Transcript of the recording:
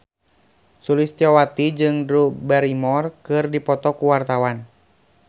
Sulistyowati jeung Drew Barrymore keur dipoto ku wartawan